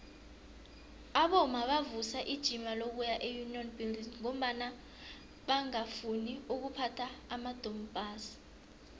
abomma bavusa ijima lokuya eunion buildings ngombana bangafuni ukuphatha amadompass